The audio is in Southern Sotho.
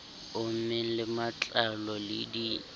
ommeng le matlalo le di